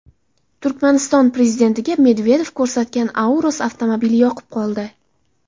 Turkmaniston prezidentiga Medvedev ko‘rsatgan Aurus avtomobili yoqib qoldi.